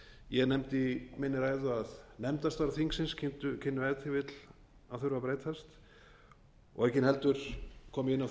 ég nefndi í minni ræðu að nefndastörf þingsins kynnu ef til vill að þurfa að breytast aukin heldur kom ég inn á